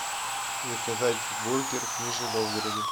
заказать бургер в нижнем новгороде